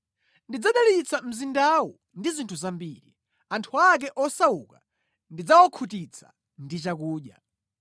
Ndidzadalitsa mzindawu ndi zinthu zambiri; anthu ake osauka ndidzawakhutitsa ndi chakudya.